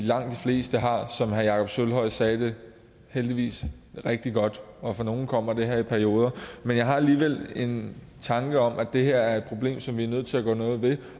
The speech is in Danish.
fleste har som herre jakob sølvhøj sagde heldigvis rigtig godt og for nogle kommer det her i perioder men jeg har alligevel en tanke om at det her er et problem som vi er nødt til at gøre noget ved